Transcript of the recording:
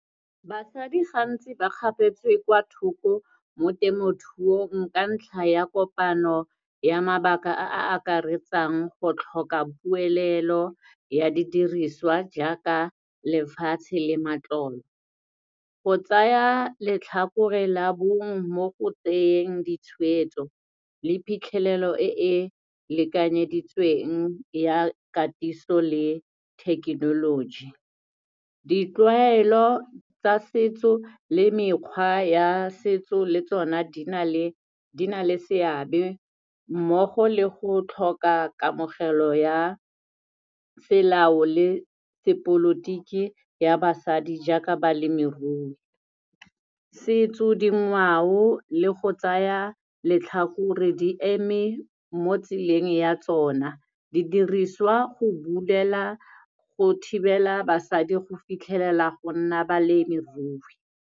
Basadi gantsi ba kgapetswe kwa thoko mo temothuong ka ntlha ya kopano ya mabaka a a akaretsang go tlhoka puelelo ya didiriswa jaaka lefatshe le matlolo, go tsaya letlhakore la bongwe mo go tseyeng ditshwetso le phitlhelelo e e lekanyeditsweng ya katiso le thekenoloji. Ditlwaelo tsa setso le mekgwa ya setso le tsona di na le, di na le seabe mmogo le go tlhoka kamogelo ya selao le sepolotiki ya basadi, jaaka balemirui. Setso, dingwao le go tsaya letlhakore di eme mo tseleng ya tsona, di diriswa go bulela go thibela basadi go fitlhelela go nna balemirui.